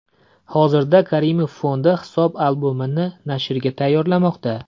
Hozirda Karimov fondi kitob-albomni nashrga tayyorlamoqda.